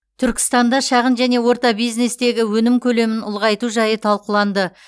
түркістанда шағын және орта бизнестегі өнім көлемін ұлғайту жайы талқыланды